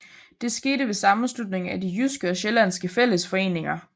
Det skete ved sammenslutningen af de jyske og sjællandske fællesforeninger